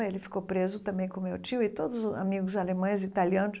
Ele ficou preso também com meu tio e todos os amigos alemães e italianos.